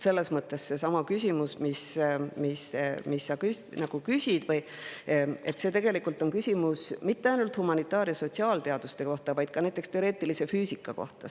Selles mõttes ei ole see küsimus, mis sa küsisid, mitte ainult humanitaar- ja sotsiaalteaduste kohta, vaid ka näiteks teoreetilise füüsika kohta.